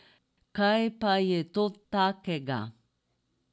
Kaj pa je to takega?